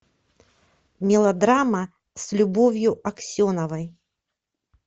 мелодрама с любовью аксеновой